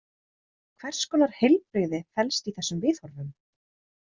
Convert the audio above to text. Hvers konar heilbrigði felst í þessum viðhorfum?